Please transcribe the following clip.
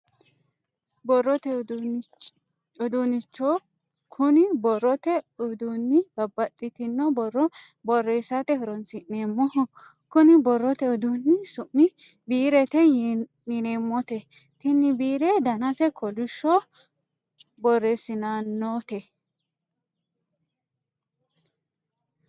Borrote uduunnicho kuni borrote uduunni babbaxxitino borro borreessate horonsi'neemmoho kuni borrote uduunni su'mi biirete yineemmote tini biire danase kolishsho borreessitannote